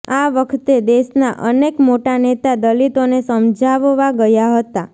આ વખતે દેશના અનેક મોટા નેતા દલિતોને સમજાવવા ગયા હતા